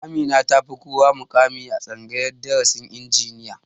Amina ta fi kowa muƙami a tsangayar darasin injiniya